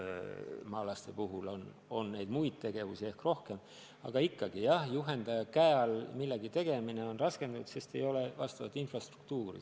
Maalastel on õues tegevusi ehk üldiselt rohkem, aga juhendaja käe all millegi tegemine on raskendatud, sest ei ole infrastruktuuri.